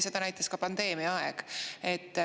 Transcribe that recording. Seda näitas ka pandeemiaaeg.